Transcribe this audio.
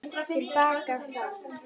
Til baka sat